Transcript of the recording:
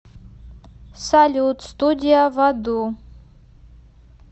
салют студия в аду